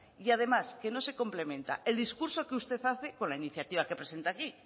y además que no se complementa el discurso que usted hace con la iniciativa que presenta aquí